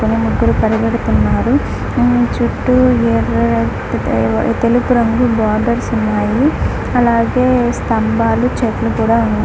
ఇక్కడ ముగ్గురు పరిగెడుతున్నారు. చుట్టూ ఏరా తెలుపు రంగు బోర్డర్స్ ఉన్నాయి. అలాగే స్తంభాలు చెట్లు కూడా ఉన్నాయి.